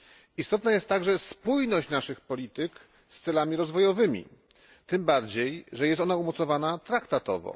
Istotna jest także spójność naszych polityk z celami rozwojowymi, tym bardziej, że jest ona umocowana traktatowo.